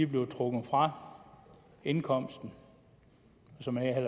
bliver trukket fra indkomsten så